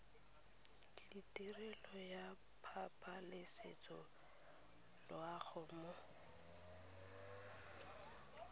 letirelo ya pabalesego loago mo